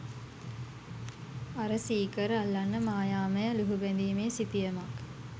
අර සීකර් අල්ලන්න මායාමය ලුහුබැඳිමේ සිතියමක්